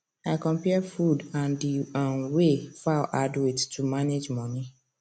i compare food and di um way fowl add weight to manage money